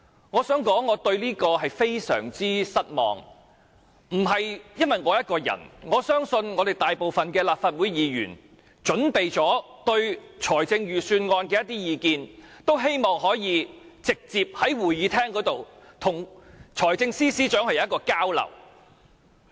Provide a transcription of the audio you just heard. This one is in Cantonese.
我想說，我對此感到非常失望，不單是我，我相信大部分準備對財政預算案提出意見的立法會議員均希望可以直接在會議廳與財政司司長交流。